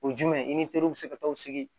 O ye jumɛn ye i ni teriw bɛ se ka taa o sigi